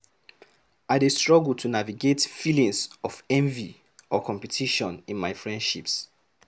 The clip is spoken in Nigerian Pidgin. I dey struggle to navigate feelings of envy or competition in my friendships.